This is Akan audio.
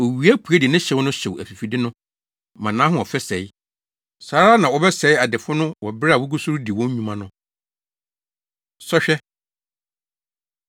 Owia pue de ne hyew no hyew afifide no ma nʼahoɔfɛ sɛe. Saa ara na wɔbɛsɛe adefo no wɔ bere a wogu so redi wɔn nnwuma no. Sɔhwɛ